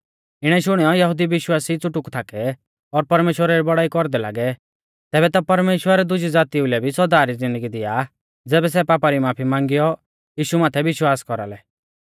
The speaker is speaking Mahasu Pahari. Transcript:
इणौ शुणियौ यहुदी विश्वासी च़ुटुक थाकै और परमेश्‍वरा री बौड़ाई कौरदै लागै तैबै ता परमेश्‍वर दुजी ज़ातीऊ लै भी सौदा री ज़िन्दगी दिया ज़ैबै सै पापा री माफी मांगियौ यीशु माथै विश्वास कौरालै